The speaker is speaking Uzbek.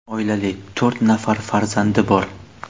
Oilali, to‘rt nafar farzandi bor.